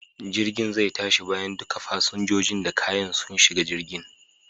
Jirgin zai tashi bayan duka fasinjojin da kayan su shiga jirgin.